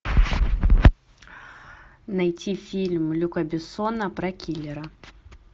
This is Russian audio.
найти фильм люка бессона про киллера